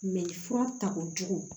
fura takojugu